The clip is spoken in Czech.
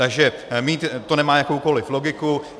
Takže to nemá jakoukoliv logiku.